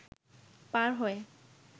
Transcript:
পার হয়ে